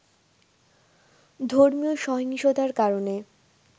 ধর্মীয় সহিংসতার কারণে